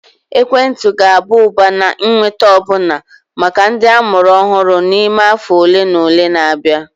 Ekwentị ga-aba ụba na ịnweta ọbụna maka ndị amụrụ ọhụrụ n'ime afọ ole na ole na-abịa